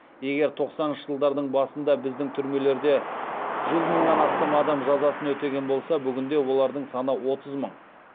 егер тоқсаныншы жылдардың басында біздің түрмелерде жүз мыңнан астам адам жазасын өтеген болса бүгінде олардың саны отыз мың